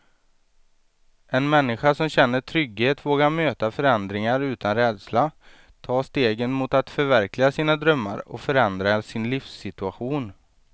En människa som känner trygghet vågar möta förändringar utan rädsla, ta stegen mot att förverkliga sina drömmar och förändra sin livssituation.